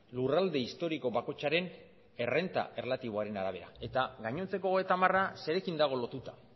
lurralde historiko bakoitzaren errenta erlatiboaren arabera eta gainontzeko hogeita hamara zerekin dago lotuta